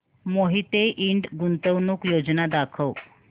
मोहिते इंड गुंतवणूक योजना दाखव